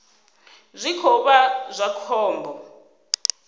zwi khou vha zwa khombo